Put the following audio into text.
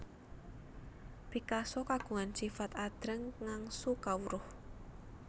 Picasso kagungan sifat adreng ngangsu kawruh